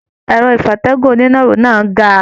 Ẹrọ ìfatẹ̀gún oninaro náà ga.